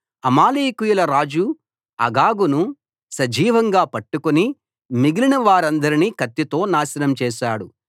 అమాలేకీయుల రాజు అగగును సజీవంగా పట్టుకుని మిగిలిన వారందరినీ కత్తితో నాశనం చేశాడు